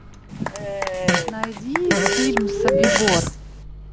найди фильм собибор